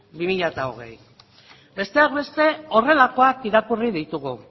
bi mila hogei besteak beste horrelakoak irakurri ditugu